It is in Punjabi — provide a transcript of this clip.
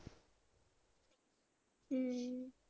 ਹਮ